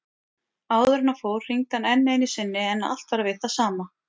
Áður en hann fór hringdi hann enn einu sinni en allt var við það sama.